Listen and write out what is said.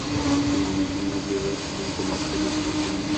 афина найди мне ближайший банкомат чтобы снять деньги